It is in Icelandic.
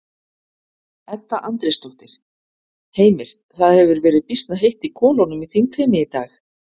Edda Andrésdóttir: Heimir, það hefur verið býsna heitt í kolunum í þingheimi í dag?